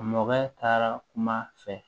Mɔkɛ taara kuma fɛ